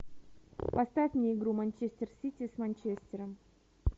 поставь мне игру манчестер сити с манчестером